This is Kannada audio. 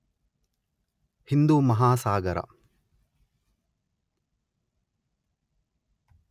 ಹಿಂದೂ ಮಹಾಸಾಗರ